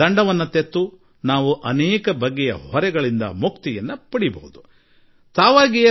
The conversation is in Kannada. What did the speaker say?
ದಂಡ ಪಾವತಿಸಿ ನಾವು ಅನೇಕ ಬಗೆಯ ಹೊರೆಯಿಂದ ಮುಕ್ತರಾಗಬಹುದಾಗಿದೆ